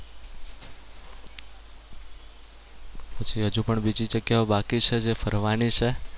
પછી હજુ પણ બીજી જગ્યાઓ બાકી છે જે ફરવાની છે.